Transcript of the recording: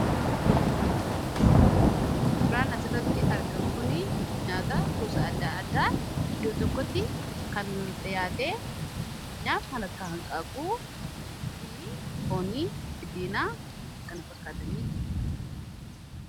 Suuraa as irratti argamu kuni nyaata gosa addaa addaa iddoo tokkotti kan dhiyaatee fakkeenyaa kan akka hanqaaquu fi foonii kan kana fakkaataniitu argamu.